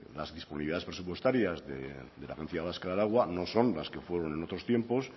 las disponibilidades presupuestarias de la agencia vasco del agua no son las que fueron en otros tiempos